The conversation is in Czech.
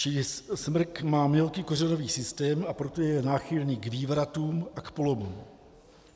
Čili smrk má mělký kořenový systém, a proto je náchylný k vývratům a k polomům.